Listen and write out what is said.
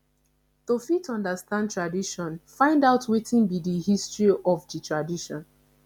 to fit understand tradition find out wetin be di history of di tradition